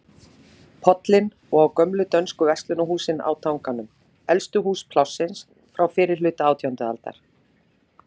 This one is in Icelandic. Pollinn og á gömlu dönsku verslunarhúsin á Tanganum, elstu hús Plássins, frá fyrrihluta átjándu aldar.